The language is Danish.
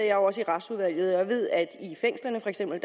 jo også i retsudvalget og jeg ved at i fængslerne for eksempel